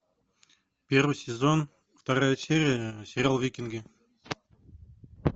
первый сезон вторая серия сериал викинги